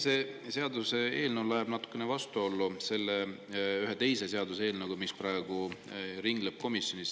See seaduseelnõu läheb natukene vastuollu ühe teise seaduseelnõuga, mis praegu ringleb komisjonis.